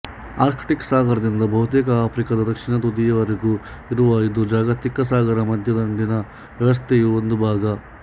Arctic ಸಾಗರದಿಂದ ಬಹುತೇಕ ಆಫ್ರಿಕಾದ ದಕ್ಷಿಣ ತುದಿಯವರೆಗೂ ಇರುವ ಇದು ಜಾಗತಿಕ ಸಾಗರ ಮಧ್ಯ ದಿಂಡಿನ ವ್ಯವಸ್ಥೆಯ ಒಂದು ಭಾಗ